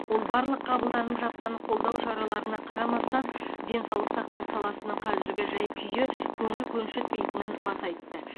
ол барлық қабылданып жатқан қолдау шараларына қарамастан денсаулық сақтау саласының қазіргі жай күйі көңіл көншітпейтінін баса айтты